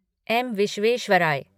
M. Visvesvaraya